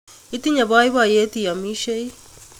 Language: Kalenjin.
Itinye boiboyet iyomishei